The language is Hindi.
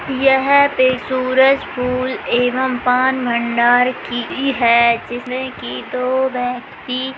यह पे सूरज फूल एवं पान भंडार की है जिसमे की दो व्यक्ति--